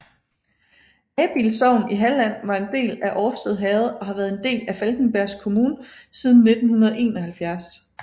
Abild sogn i Halland var en del af Årstad herred og har været en del af Falkenbergs kommun siden 1971